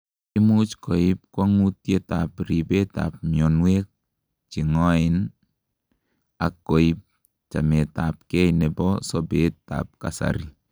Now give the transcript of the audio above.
imuch koib kwongutiet ab ribet ab mionwek chengoen ak koib chamet ab gei nebo sobet ab kasari